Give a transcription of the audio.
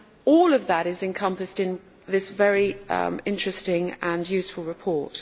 All of that is encompassed in this very interesting and useful report.